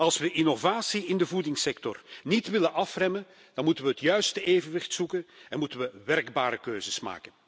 Als we de innovatie in de voedingssector niet willen afremmen, dan moeten we het juiste evenwicht zoeken en moeten we werkbare keuzes maken.